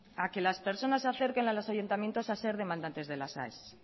a que las personas se acerquen a los ayuntamientos a ser demandantes de las aes